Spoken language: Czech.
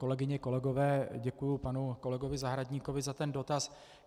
Kolegyně, kolegové, děkuji panu kolegovi Zahradníkovi za ten dotaz.